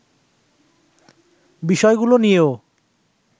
বিষয়গুলো নিয়েও